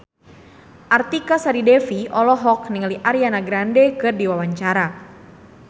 Artika Sari Devi olohok ningali Ariana Grande keur diwawancara